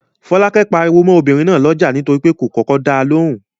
Fọ́lákẹ́ pariwo mọ́ obìnrin náà lọ́jà nítorí pé kò kọ́kọ́ da lóhùn.